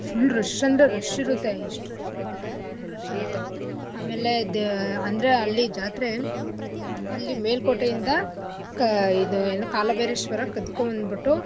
full rush ಅಂದ್ರೆ rush ಇರುತ್ತೆ ಎಷ್ಟ್ rush ಇರುತ್ತೆ ಅಂದ್ರೆ full rush ಇರುತ್ತೆ ಆಮೇಲೆ ಅಂದ್ರೆ ಅಲ್ಲಿ ಜಾತ್ರೆ ಅಲ್ಲಿ ಮೇಲ್ಕೋಟೆಯಿಂದ ಕ ಇದು ಏನು ಕಾಲಭೈರೇಶ್ವರ ಕದ್ಕೊಬಂದ್ಬುಟ್ಟು.